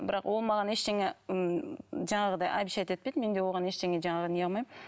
бірақ ол маған ештеңе м жаңағыдай обещать етпейді мен де оған ештеңе жаңағы не қылмаймын